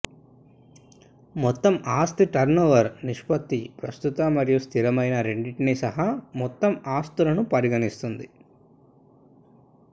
మొత్తం ఆస్తి టర్నోవర్ నిష్పత్తి ప్రస్తుత మరియు స్థిరమైన రెండింటినీ సహా మొత్తం ఆస్తులను పరిగణిస్తుంది